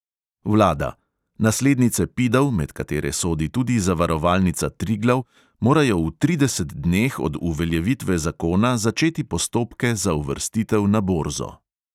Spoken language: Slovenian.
Vlada: "naslednice pidov, med katere sodi tudi zavarovalnica triglav, morajo v tridesetih dneh od uveljavitve zakona začeti postopke za uvrstitev na borzo."